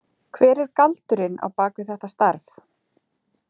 Hver er galdurinn á bak við þetta starf?